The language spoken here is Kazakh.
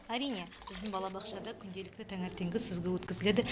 әрине біздің балабақшада күнделікті таңертеңгі сүзгі өткізіледі